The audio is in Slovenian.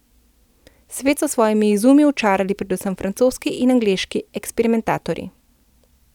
Svet so s svojimi izumi očarali predvsem francoski in angleški eksperimentatorji.